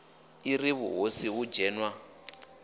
i ri vhuhosi hu dzhenwa